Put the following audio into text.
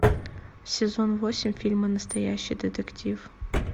сезон восемь фильма настоящий детектив